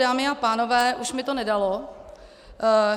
Dámy a pánové, už mi to nedalo.